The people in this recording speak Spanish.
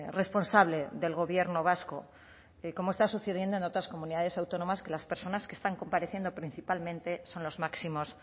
responsable del gobierno vasco como está sucediendo en otras comunidades autónomas que las personas que están compareciendo principalmente son los máximos